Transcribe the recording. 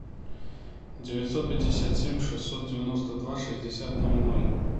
девятьсот пятьдесят семь шестьсот девяносто два шестьдесят ноль ноль